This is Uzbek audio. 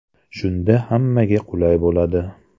Shunda hammaga qulay bo‘ladi.